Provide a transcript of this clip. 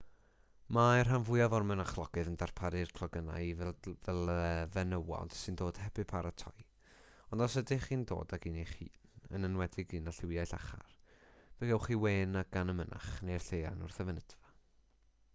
mae'r rhan fwyaf o'r mynachlogydd yn darparu clogynnau i fenywod sy'n dod heb eu paratoi ond os ydych chi'n dod ag un eich hun yn enwedig un â lliwiau llachar fe gewch chi wên gan y mynach neu'r lleian wrth y fynedfa